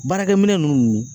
Baarakɛ minɛ ninnu